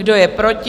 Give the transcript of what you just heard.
Kdo je proti?